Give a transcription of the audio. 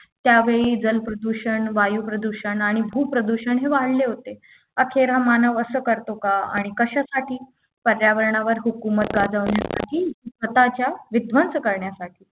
त्यावेळी जल प्रदूषण वायू प्रदूषण आणि खूप प्रदूषण हे वाढले होते अखेर हा मानव असं करतो आणि कशासाठी पर्यावरणावर हुकूमत गाजवण्यासाठी की स्वतःचा विध्वंस करण्यासाठी